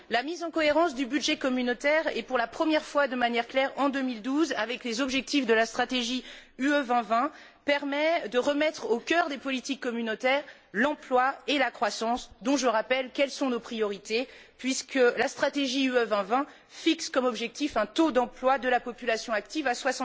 La mise en cohérence du budget communautaire, pour la première fois de manière claire en 2012, avec des objectifs de la stratégie UE 2020 permet de remettre au cœur des politiques communautaires l'emploi et la croissance, dont je rappelle qu'ils sont nos priorités puisque la stratégie UE 2020 fixe un objectif de taux d'emploi de la population active de